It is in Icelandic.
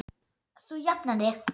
Þú jafnar þig.